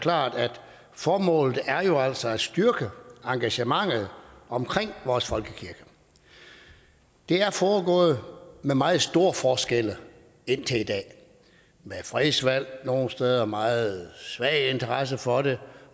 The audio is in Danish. klart at formålet jo altså er at styrke engagementet omkring vores folkekirke det er foregået med meget store forskelle indtil i dag med fredsvalg nogle steder med meget svag interesse for det